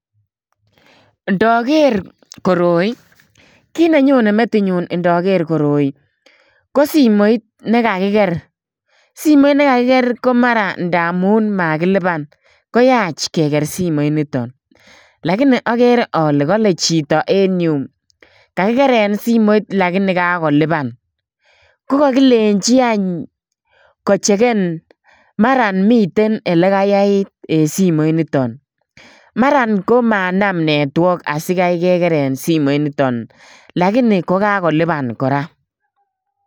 Ndaker koroi, ko kiy nenyone metit nyun ndaker koroi, ko simoit nekakiker. Simoit ne kakkier ko mara ndaamun makilipan. Koyach keker simoit niton. Lakini akere ale kale chito en yeu, kakikeren simoit lakini kakolipan. Ko kakilenji any, kocheken. Mara miten ele kayait en simoit niton. Mar komanam network asikai kekeren simoit niton. Lakini kokakolipan kora.